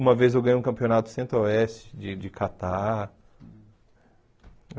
Uma vez eu ganhei um campeonato do Centro-Oeste, de Catar.